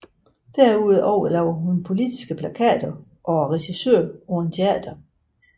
Derudover laver hun politiske plakater og er regissør på et teater